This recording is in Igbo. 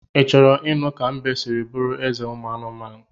I choro inu ka mbe siri buru eze umu anumanu?